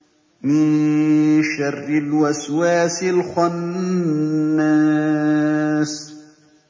مِن شَرِّ الْوَسْوَاسِ الْخَنَّاسِ